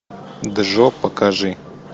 джо покажи